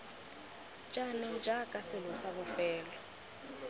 jaanong jaaka selo sa bofelo